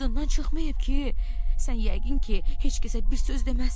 Yadından çıxmayıb ki, sən yəqin ki, heç kəsə bir söz deməzsən.